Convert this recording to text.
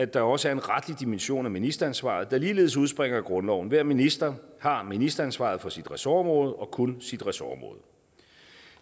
der også er en retlig dimension af ministeransvaret der ligeledes udspringer af grundloven hver minister har ministeransvaret for sit ressortområde og kun sit ressortområde